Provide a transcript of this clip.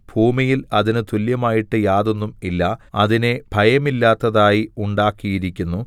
ഭൂമിയിൽ അതിന് തുല്യമായിട്ട് യാതൊന്നും ഇല്ല അതിനെ ഭയമില്ലാത്തതായി ഉണ്ടാക്കിയിരിക്കുന്നു